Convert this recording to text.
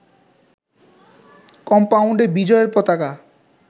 কম্পাউন্ডে বিজয় পতাকা